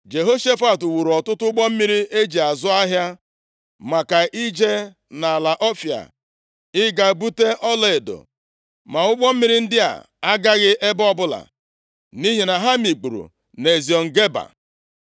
Jehoshafat wuuru ọtụtụ ụgbọ mmiri eji azụ ahịa, maka ije nʼala Ọfịa ịga bute ọlaedo ma ụgbọ mmiri ndị a agaghị ebe ọbụla, nʼihi na ha mikpuru nʼEziọn Geba.